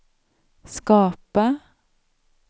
skapa